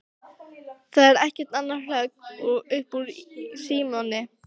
Það er ekkert annað hrökk upp úr Símoni.